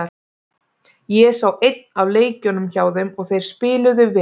Ég sá einn af leikjunum hjá þeim og þeir spiluðu vel.